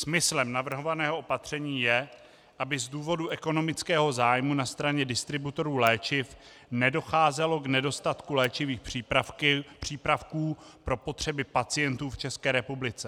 Smyslem navrhovaného opatření je, aby z důvodu ekonomického zájmu na straně distributorů léčiv nedocházelo k nedostatku léčivých přípravků pro potřeby pacientů v České republice.